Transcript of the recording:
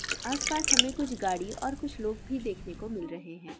आस पास हमे कुछ गाधि और कुछ लोग भी देखने को मिल रहे है|